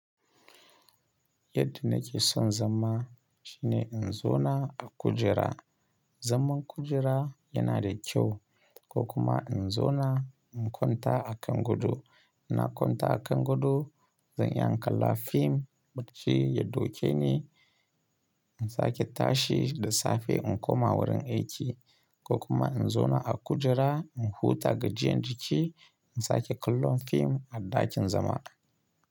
Yadda nake son zama shine in zo na a kujera. Zaman kujera yana da kyau ko kuma in zo na in kwanta a kan godo. Ina kwanta a kan godo zan iya in kalla fim bacci ya dauke ni in sake tashi da safe in koma wurin aiki ko kuma in zo na a kujera in huta gajiyan jiki in sake kallon fim a ɗakin zama.